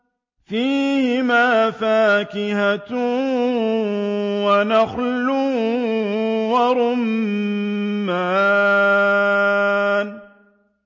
فِيهِمَا فَاكِهَةٌ وَنَخْلٌ وَرُمَّانٌ